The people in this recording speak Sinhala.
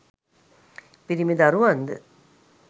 පිරිමි දරුවන්ද